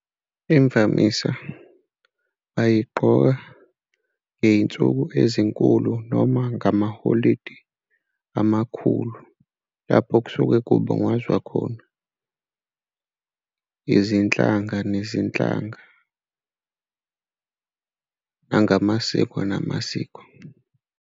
Imvamisa ayigqoka ngey'nsuku ezinkulu noma ngamaholidi amakhulu lapho kusuke kubungazwa khona izinhlanga nezinhlanga ngamasiko namasiko.